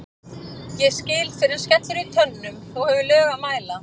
ég skil fyrr en skellur í tönnum þú hefur lög að mæla